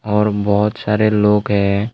और बहुत सारे लोग है।